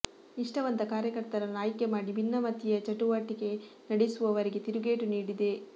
ನಿಷ್ಠಾವಂತ ಕಾರ್ಯಕರ್ತರನ್ನು ಆಯ್ಕೆ ಮಾಡಿ ಭಿನ್ನಮತೀಯ ಚಟುಟವಟಿ ನಡೆಸುವವರಿಗೆ ತಿರುಗೇಟು ನೀಡಿದೆ